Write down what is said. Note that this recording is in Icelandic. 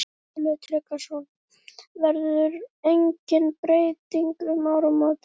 Sölvi Tryggvason: Verður engin breyting um áramótin?